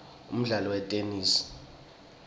umdlalo wetenesi